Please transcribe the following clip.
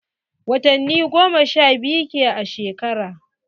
Watani goma sha biyu ke a shekara.